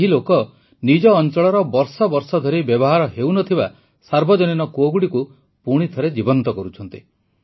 ଏହି ଲୋକ ନିଜ ଅଂଚଳର ବର୍ଷବର୍ଷ ଧରି ବ୍ୟବହାର ହେଉନଥିବା ସାର୍ବଜନୀନ କୂଅଗୁଡ଼ିକୁ ପୁଣିଥରେ ଜୀବନ୍ତ କରୁଛନ୍ତି